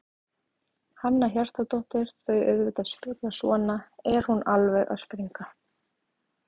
Hanna Hjartardóttir: Þau auðvitað spyrja svona, er hún alveg að springa?